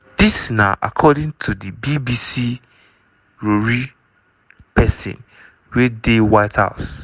dis na according to di bbc rori pesin wey dey white house.